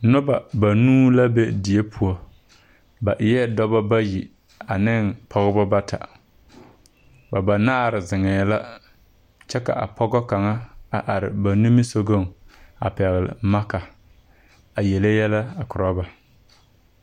Noba banuu la be die poɔ ba eɛ dɔbɔ bayi ane pɔgeba bata ba banaare zeŋɛɛ la kyɛ ka a pɔgɔ kaŋa a are ba nimisɔgɔŋ a pɛgle maakaa yele yɛlɛ koro ba.